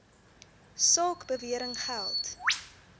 saak bewering geld